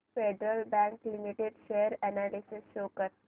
federal Bank Limited share analysis show कर